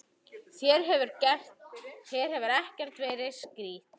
Þér hefur ekkert verið strítt?